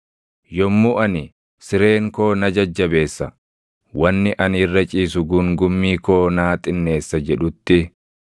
Yommuu ani, ‘Sireen koo na jajjabeessa; wanni ani irra ciisu guungummii koo naa xinneessa’ jedhutti,